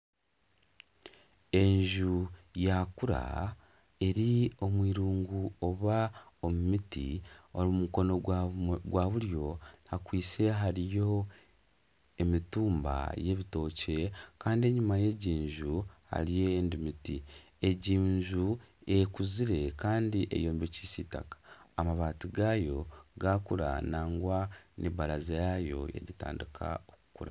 Enju yakura eri omu irungu oba omu miti omu mukono gwa buryo hakwitse hariyo emitumba ya ebitookye Kandi enyuma yegyo enju hariyo endijo emiti egyi enju ekuzire Kandi eyombekyise itaka . Amabati gayo gakura nangwa na ebaraza yayo yatandika okukura.